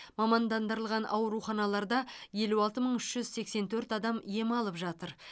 мамандандырылған ауруханаларда елу алты мың үш жүз сексен төрт адам ем алып жатыр